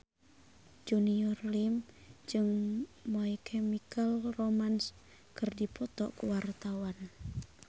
Junior Liem jeung My Chemical Romance keur dipoto ku wartawan